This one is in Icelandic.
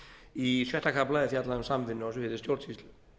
í sjötta kafla er fjallað um samvinnu á sviði stjórnsýslu